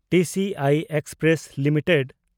TCI express limited